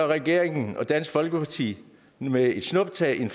regeringen og dansk folkeparti med et snuptag